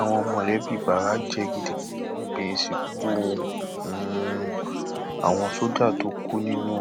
àwọn mọlẹbí bara jẹ gidigidi níbi ìsìnkú um àwọn sójà tó kú nínú